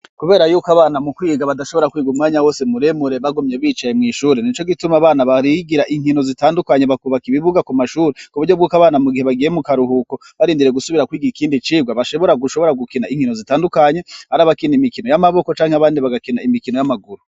Kubera yuko abana mu kwiga badashobora kwigumwanya wose muremure bagumye bicaye mw'ishuri nico gituma abana barigira inkino zitandukanye bakubaka ibibuga ku mashuri ku buryo bwuko abana mu gihe bagiye mu karuhuko barindiriye gusubira kwigi ikindi icigwa bashobora gushobora gukina inkino zitandukanye ar'abakina imikino y'amaboko canke abandi bagakina imikino y'amaguru.